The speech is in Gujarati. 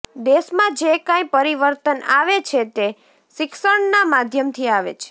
દેશમાં જે કાંઈ પરિવર્તન આવે છે તે શિક્ષણના માધ્યમથી આવે છે